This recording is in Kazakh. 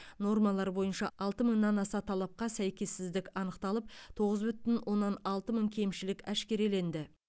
нормалар бойынша алты мыңнан аса талапқа сәйкессіздік анықталып тоғыз бүтін оннан алты мың кемшілік әшкереленді